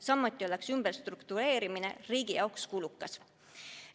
Samuti oleks ümberstruktureerimine riigi jaoks kulukas.